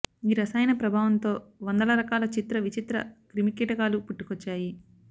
ఈ రసాయన ప్రభావంతో వందల రకాల చిత్ర విచిత్ర క్రిమికీటకాలు పుట్టుకొచ్చాయి